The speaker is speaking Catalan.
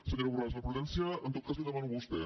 senyora borràs la prudència en tot cas la hi demano a vostè